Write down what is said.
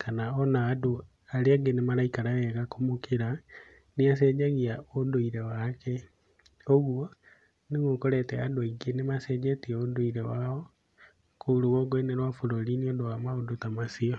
kana ona andũ arĩa angĩ nĩ maraikara wega kũmũkĩra, nĩ acenjagia ũndũire wake. Koguo nĩguo ũkorete andũ aingĩ nĩ macenjetie ũndũire wao kũu rũgongo-inĩ wa bũrũri nĩ ũndũ wa maũndũ ta macio.